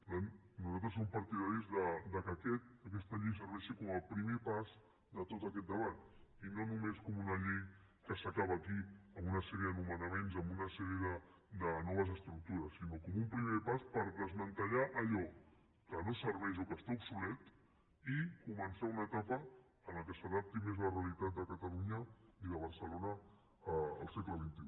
per tant nosaltres som partidaris que aquesta llei serveixi com a primer pas de tot aquest debat i no només com una llei que s’acaba aquí amb una sèrie de nomenaments amb una sèrie de noves estructures sinó com un primer pas per desmantellar allò que no serveix o que està obsolet i començar una etapa en què s’adapti més la realitat de catalunya i de barcelona al segle xxi